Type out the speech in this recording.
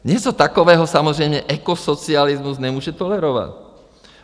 Něco takového samozřejmě ekosocialismus nemůže tolerovat.